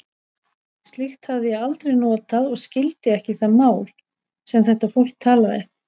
Slíkt hafði ég aldrei notað og skildi ekki það mál, sem þetta fólk talaði.